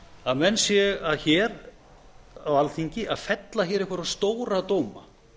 að menn séu á alþingi að fella einhverja stóra dóma